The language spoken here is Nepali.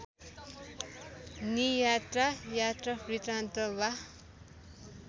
नियात्रा यात्रावृत्तान्त वा